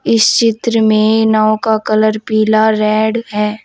इस चित्र में नाव का कलर पीला रेड है।